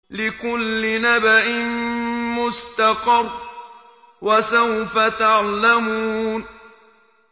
لِّكُلِّ نَبَإٍ مُّسْتَقَرٌّ ۚ وَسَوْفَ تَعْلَمُونَ